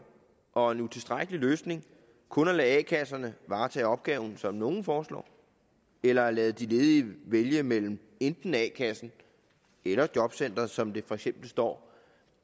og utilstrækkelig løsning kun at lade a kasserne varetage opgaven som nogle foreslår eller at lade de ledige vælge mellem enten a kassen eller jobcenteret som det for eksempel står